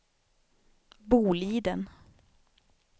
Boliden